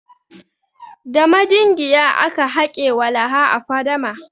Da madingiya aka hake walaha a fadama.